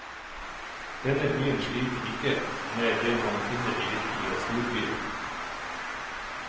Denne byen sliter ikke med det man finner i virkelige storbyer.